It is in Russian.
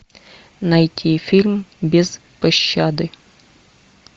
найти фильм без пощады